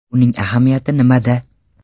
Uning ahamiyati nimada?